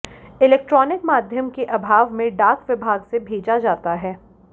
electronic माध्यम के अभाव में डाक विभाग से भेजा जाता है